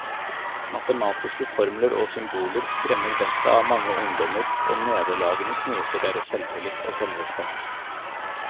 Matematiske formler og symboler skremmer vettet av mange ungdommer, og nederlagene knuser deres selvtillit og selvrespekt.